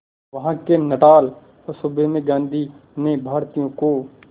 वहां के नटाल सूबे में गांधी ने भारतीयों को